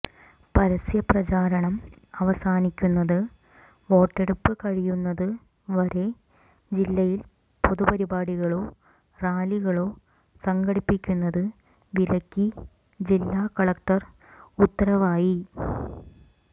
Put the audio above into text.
പരസ്യപ്രചാരണം അവസാനിക്കുന്നത് വോട്ടെടുപ്പ് കഴിയുന്നത് വരെ ജില്ലയിൽ പൊതുപരിപാടികളോ റാലികളോ സംഘടിപ്പിക്കുന്നത് വിലക്കി ജില്ലാ കലക്ടർ ഉത്തരവായി